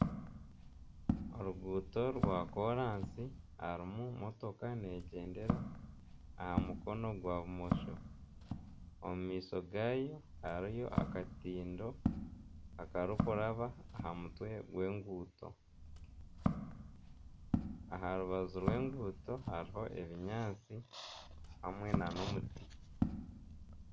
Oruguuto rwa koorasi harimu n'emotoka neegyendera aha mukono gwa bumosho omu maisho gaayo hariyo akatindo akarikuraba aha mutwe gw'enguuto aha rubaju rw'enguuto hariho ebinyaatsi hamwe nana omuti